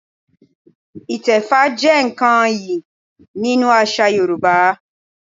Ìtẹfá jẹ́ nǹkan iyì nínú àṣà Yorùbá